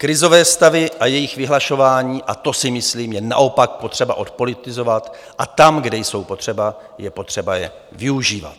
Krizové stavy a jejich vyhlašování - a to si myslím - je naopak potřeba odpolitizovat a tam, kde jsou potřeba, je potřeba je využívat.